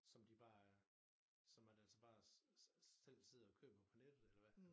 Som de bare øh som man altså bare selv sidder og køber på nettet eller hvad